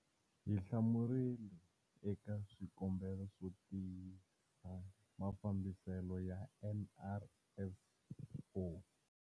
Hi hlamurile eka swikombelo swo tiyisa mafambiselo ya NRSO.